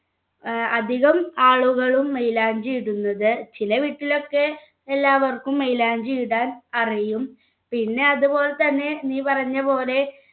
ഏർ അധികം ആളുകളും മൈലാഞ്ചി ഇടുന്നത് ചില വീട്ടിലൊക്കെ എല്ലാവർക്കും മൈലാഞ്ചി ഇടാൻ അറിയും പിന്നെ അതുപോലെ തന്നെ നീ പറഞ്ഞപോലെ